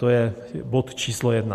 To je bod číslo jedna.